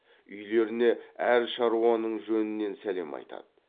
үйлеріне әр шаруаның жөнінен сәлем айтады